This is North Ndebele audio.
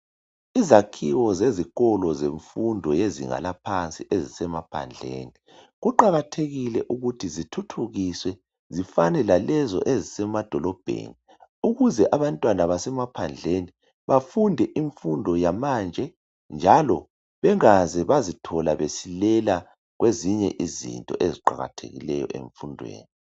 Izakhiwo zezikolo zemfundo yezinga laphansi ezisemaphandleni, kuqakathekile ukuthi zithuthukiswe zifane lalezo ezisemadolobheni ukuze abantwana basemaphandleni bafunde imfundo yamanje njalo bengaze bazithola besilela kwezinye izinto eziqakathekileyo emfundweni.